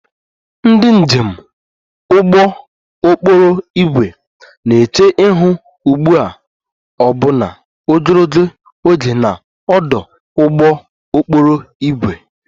Ndị njem ụgbọ okporo ígwè na-eche ihu ugbu a ọbụna ogologo oge na ọdụ ụgbọ okporo ígwè